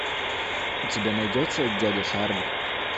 у тебя найдется дядя шарль